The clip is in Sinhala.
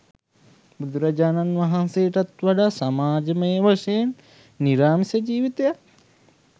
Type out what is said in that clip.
බුදුරජාණන් වහන්සේටත් වඩා සමාජමය වශයෙන් නිරාමිස ජීවිතයක්